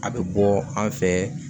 A bɛ bɔ an fɛ